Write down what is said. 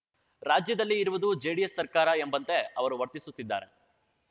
ರಾಜ್ಯದಲ್ಲಿ ಇರುವುದು ಜೆಡಿಎಸ್‌ ಸರ್ಕಾರ ಎಂಬಂತೆ ಅವರು ವರ್ತಿಸುತ್ತಿದ್ದಾರೆ